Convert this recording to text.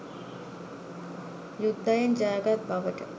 යුද්ධයෙන් ජයගත් බවට